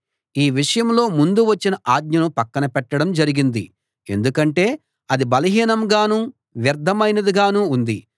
ఈ విషయంలో ముందు వచ్చిన ఆజ్ఞను పక్కన పెట్టడం జరిగింది ఎందుకంటే అది బలహీనంగానూ వ్యర్ధమైనదిగానూ ఉంది